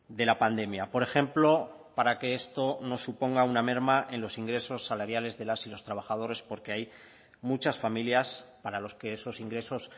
de la pandemia por ejemplo para que esto no suponga una merma en los ingresos salariales de las y los trabajadores porque hay muchas familias para los que esos ingresos